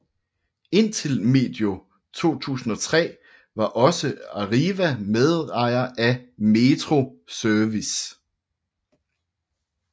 Indtil medio 2003 var også Arriva medejer af Metro Service